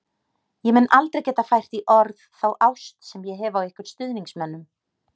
Ég mun aldrei geta fært í orð þá ást sem ég hef á ykkur stuðningsmönnum.